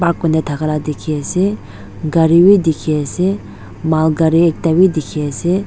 Ark kuri kena dhaka la dekhi ase gare bei dekhe ase mal gare ek da bei dekhe ase.